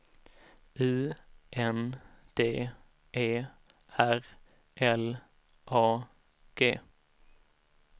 U N D E R L A G